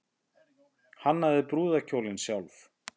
Hannaði brúðarkjólinn sjálf